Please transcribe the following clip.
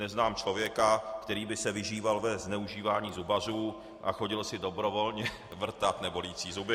Neznám člověka, který by se vyžíval ve zneužívání zubařů a chodil si dobrovolně vrtat nebolící zuby.